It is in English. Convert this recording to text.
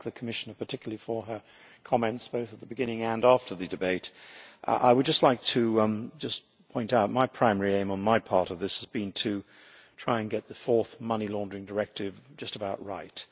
I thank the Commissioner particularly for her comments both at the beginning and after the debate. I would just like to point out that my primary aim in my part of this has been to try and get the fourth Anti-Money Laundering Directive just about right.